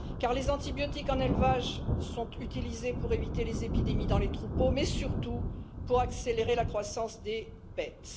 Car les antibiotiques en élevage sont utilisés pour éviter les épidémies dans les troupeaux, mais surtout pour accélérer la croissance des bêtes.